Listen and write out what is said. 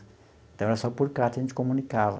Então, era só por carta que a gente comunicava.